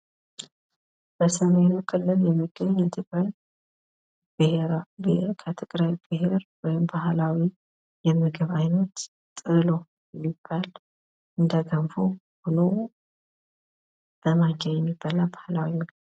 በሰሜኑ ክልል የሚገኝ የትግራይ ብሄር ፣ ከትግራይ ብሄር ወይም ባህላዊ የምግብ ዓይነት ጥህሎ የሚባል እንደ ገንፎ ሁኖ በማንኪያ የሚበላ ባህላዊ ምግብ